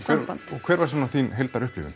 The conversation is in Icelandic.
og hver var svona þín